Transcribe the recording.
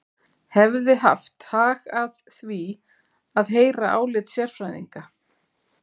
Hefði haft hag að því að heyra álit sérfræðinga.